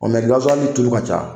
Ɔ mɛ gasiwali in tulu ka ca.